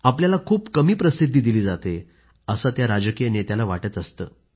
आपल्याला खूप कमी प्रसिद्धी दिली जाते असं त्या राजकीय नेत्याला वाटत असतं